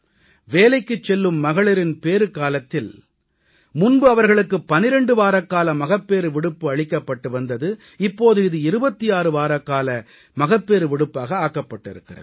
வேலைக்குச் செல்லும் மகளிரின் பேறுக் காலத்தில் முன்பு அவர்களுக்கு 12 வாரக்கால மகப்பேறு விடுப்பு அளிக்கப்பட்டு வந்தது இப்போது இது 26 வாரக்கால மகப்பேறு விடுப்பாக ஆக்கப்பட்டிருக்கிறது